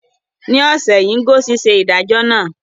Ní ọ̀sẹ̀ yìí, Ngozi ṣe ìdájọ́ náà.